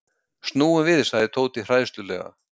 Snúum við sagði Tóti hræðslulega.